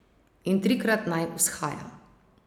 In trikrat naj vzhaja.